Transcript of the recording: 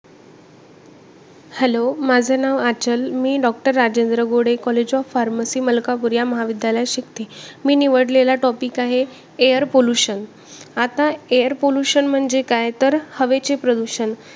hello माझं नाव आंचल, मी doctor Rajendra Gode college of pharmacy Malkapur या महाविद्यालयात शिकते. मी निवडलेला topic आहे air pollution आता air pollution म्हणजे काय तर हवेचे प्रदूषण.